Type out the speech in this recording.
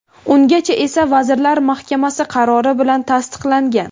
Ungacha esa Vazirlar Mahkamasi qarori bilan tasdiqlangan.